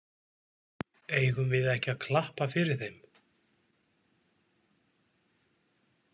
Eigum við ekki að klappa fyrir þeim?